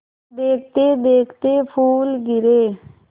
देखते देखते फूल गिरे